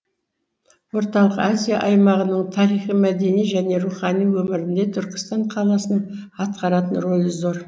орталық азия аймағының тарихи мәдени және рухани өмірінде түркістан қаласының атқаратын рөлі зор